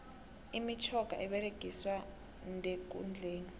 imitjhoga eberegiswa ndekundleni